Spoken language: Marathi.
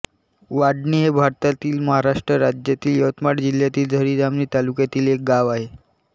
वाडणी हे भारतातील महाराष्ट्र राज्यातील यवतमाळ जिल्ह्यातील झरी जामणी तालुक्यातील एक गाव आहे